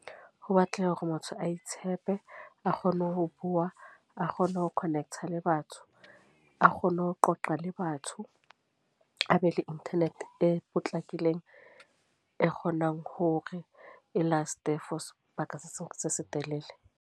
Ho batleha hore motho a itshepe. A kgone ho bua, a kgone ho connect-a le batho, a kgone ho qoqa le batho. A be le internet e potlakileng, e kgonang hore e last-e for sebaka se se telele.